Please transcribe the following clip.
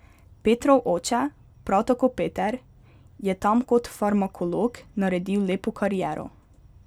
Petrov oče, prav tako Peter, je tam kot farmakolog naredil lepo kariero.